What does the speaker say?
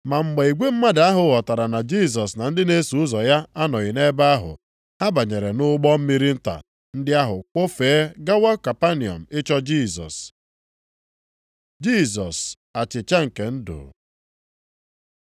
Ma mgbe igwe mmadụ ahụ ghọtara na Jisọs na ndị na-eso ụzọ ya anọghị nʼebe ahụ, ha banyere nʼụgbọ mmiri nta ndị ahụ kwọfee gawa Kapanọm ịchọ Jisọs. Jisọs achịcha nke ndụ